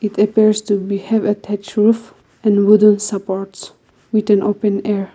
it appears to be roof and wooden supports with an open air.